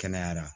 Kɛnɛyara